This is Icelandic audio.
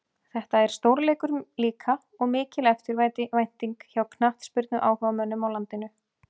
Þetta er stórleikur líka og mikil eftirvænting hjá knattspyrnuáhugamönnum á landinu.